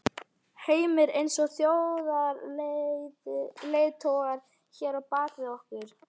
Heimir: Eins og þjóðarleiðtogarnir hér á bak við okkur?